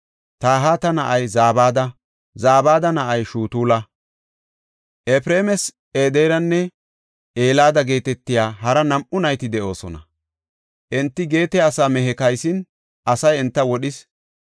Tahata na7ay Zabada; Zabada na7ay Shutula. Efreemas Ederanne Elada geetetiya hara nam7u nayti de7oosona. Enti Geete asaa mehe kaysin asay enta wodhis.